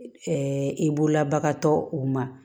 i bolola bagantɔ u ma